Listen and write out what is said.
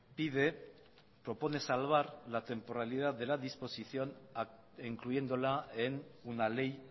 pide propone salvar la temporalidad de la disposición incluyéndola en una ley